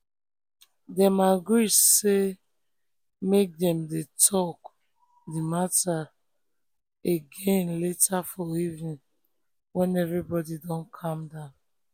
dem agree say make dem talk um the matter um again later for evening when everybody don calm down.